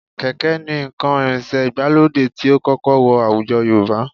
Kẹ̀ké ni nǹkan ìrìnsẹ̀ ìgbàlódé tí ó kọ́kọ́ wọ àwùjọ Yorùbá